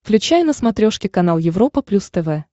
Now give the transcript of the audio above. включай на смотрешке канал европа плюс тв